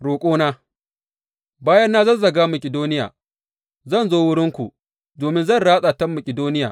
Roƙona Bayan na zazzaga Makidoniya, zan zo wurinku, domin zan ratsa ta Makidoniya.